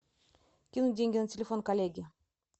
кинуть деньги на телефон коллеге